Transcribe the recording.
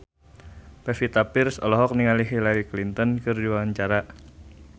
Pevita Pearce olohok ningali Hillary Clinton keur diwawancara